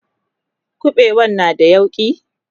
ƙuɓewan na da yauƙi?